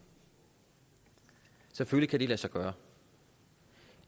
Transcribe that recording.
selvfølgelig kan det lade sig gøre